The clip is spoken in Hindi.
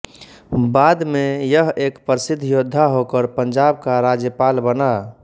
बाद में यह एक प्रसिद्द योद्धा होकर पंजाब का राज्यपाल बना